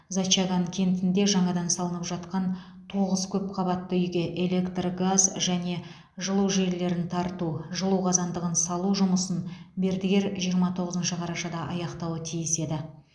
зачаган кентінде жаңадан салынып жатқан тоғыз көпқабатты үйге электр газ және жылу желілерін тарту жылу қазандығын салу жұмысын мердігер жиырма тоғызыншы қарашада аяқтауы тиіс еді